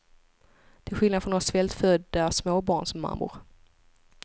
Till skillnad från oss svältfödda småbarnsmammor.